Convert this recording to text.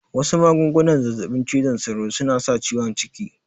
Wasu magungunan zazzaɓin cizon sauron suna sa ciwon ciki